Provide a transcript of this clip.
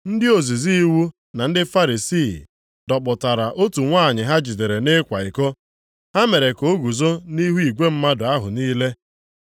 Ndị ozizi iwu na ndị Farisii dọkpụtara otu nwanyị ha jidere nʼịkwa iko. Ha mere ka o guzo nʼihu igwe mmadụ ahụ niile.